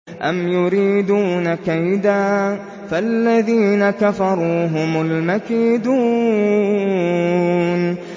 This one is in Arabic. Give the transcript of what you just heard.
أَمْ يُرِيدُونَ كَيْدًا ۖ فَالَّذِينَ كَفَرُوا هُمُ الْمَكِيدُونَ